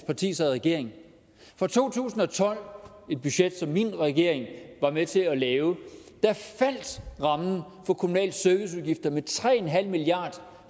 parti sad i regering fra to tusind og tolv et budget som min regering var med til at lave faldt rammen for kommunale serviceudgifter med tre en halv milliard